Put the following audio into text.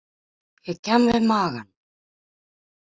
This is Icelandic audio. Ég kem við magann.